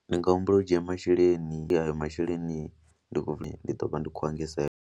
Ndi nga humbela u dzhia masheleni, ayo masheleni ndi ḓo vha ndi khou a engedza.